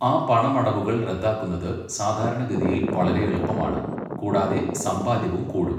ആ പണമടവുകൾ റദ്ദാക്കുന്നത് സാധാരണഗതിയിൽ വളരെ എളുപ്പമാണ്, കൂടാതെ സമ്പാദ്യവും കൂടും.